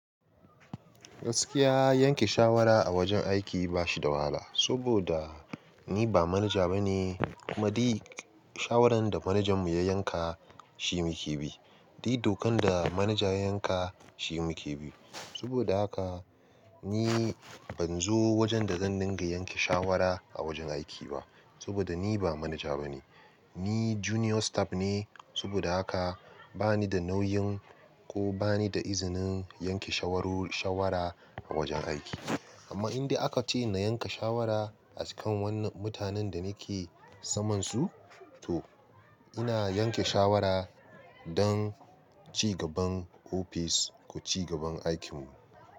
Gaskiya yanke shawara a wajen aiki ba shi da wahala. Saboda, ni ba manaja ba ne, kuma duk shawarar da manajanmu ya yanka shi muke bi. Duk dokan da manaja ya yanka shi muke bi. Saboda haka ni ban zo wajen da zan dinga yanke shawara a wajen aiki ba. Saboda ni ba manaja ba ne. Ni junior staff ne, saboda haka bani da nauyin ko bani da izinin yanke shawara a wajen aiki. Amma in dai aka ce na yanka shawara a kan wannan mutanen da nake saman su, to ina yanke shawara don ci gaban ofis ko ci gaban aikinmu.